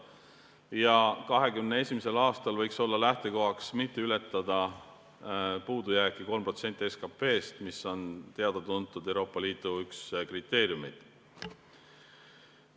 2021. aastal võiks olla lähtekohaks, et puudujääk ei ületaks 3% SKP-st, mis on Euroopa Liidu üks teada-tuntud kriteeriume.